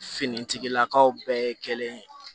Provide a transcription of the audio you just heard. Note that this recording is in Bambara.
Finitigilakaw bɛɛ kelen